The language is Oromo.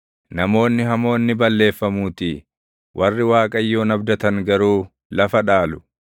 Namoonni hamoon ni balleeffamuutii; warri Waaqayyoon abdatan garuu lafa dhaalu.